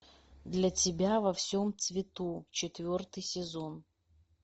для тебя во всем цвету четвертый сезон